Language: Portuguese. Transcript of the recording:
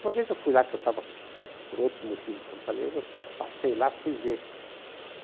Uma vez eu fui lá, que eu estava por outros motivos em Fortaleza, eu passei lá e fui ver.